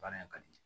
Baara in ka di